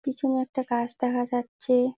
পিছনে একটা গাছ দেখা যাচ্ছে-এ।